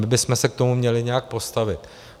My bychom se k tomu měli nějak postavit.